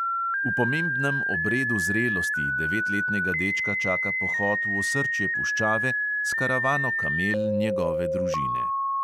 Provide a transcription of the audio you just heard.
V pomembnem obredu zrelosti devetletnega dečka čaka pohod v osrčje puščave s karavano kamel njegove družine.